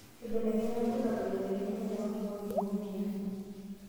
Keibelekenya ilbulabul aitegemea ajo kakua oik eibung'a emoyian.